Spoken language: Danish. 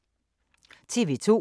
TV 2